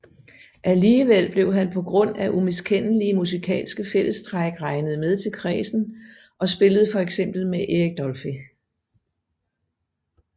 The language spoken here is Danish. Alligevel blev han på grund af umiskendelige musikalske fællestræk regnet med til kredsen og spillede fx med Eric Dolphy